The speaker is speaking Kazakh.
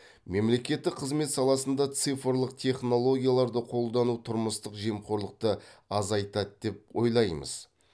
мемлекеттік қызмет саласында цифрлық технологияларды қолдану тұрмыстық жемқорлықты азайтады деп ойлаймыз